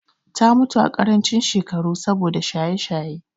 Ta mutu a ƙarancin shekaru saboda shaye-shaye.